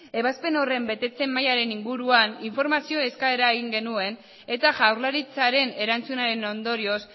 ebazpen horren betetze mailaren inguruan informazio eskaera egin genuen eta jaurlaritzaren erantzunaren ondorioz